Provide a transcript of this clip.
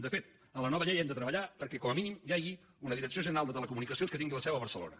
de fet en la nova llei hem de treballar perquè com a mínim hi hagi una direcció general de telecomunicacions que tingui la seu a barcelona